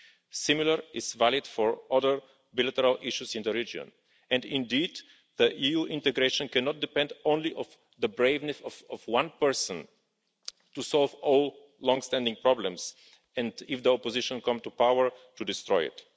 This is similarly valid for other bilateral issues in the region, and indeed EU integration cannot depend only on the bravery of one person to solve all long standing problems, and if the opposition come to power, to destroy it.